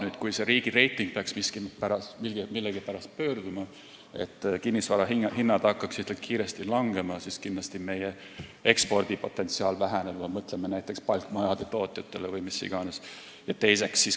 Nüüd, kui see riigi reiting peaks millegipärast pöörduma ja kinnisvara hinnad hakkaksid kiiresti langema, siis kindlasti meie ekspordi potentsiaal väheneb, kui me mõtleme näiteks palkmajade tootjatele vms.